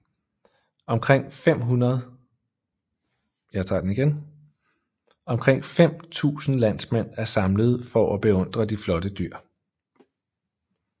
Omkring 5000 landmænd er samlet for at beundre de flotte dyr